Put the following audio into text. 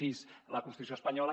sis la constitució espanyola